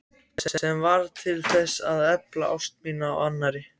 Sem varð til að efla ást mína á annarri.